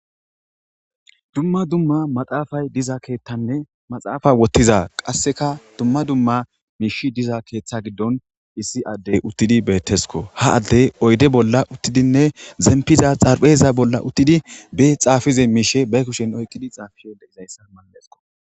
dumma dumma maxaafay diza keeththanne maxaafa woththiza qasseka dumma dumma miishi diza keeththa giddon issi addey uttidi beettesko ha addey oyde bolla uttidinne zempiza xarpheza bolla uttidi be xaafize miishe bay kushen oyqqidi xaafiye leizayssa mallesko